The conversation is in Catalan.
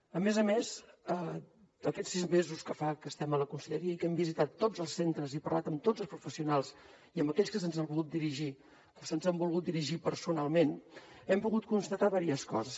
a més a més en aquests sis mesos que fa que estem a la conselleria i que hem visitat tots els centres i parlat amb tots els professionals i amb aquells que se’ns han volgut dirigir personalment hem pogut constatar diverses coses